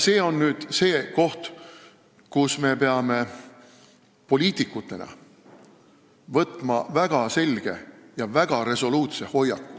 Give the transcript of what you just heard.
See on see koht, kus me peame poliitikutena võtma väga selge ja resoluutse hoiaku.